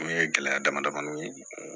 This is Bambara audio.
O ye gɛlɛya damadamaw ye